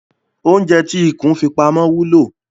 Oúnjẹ tí ikùn fi pamọ́ wúlò.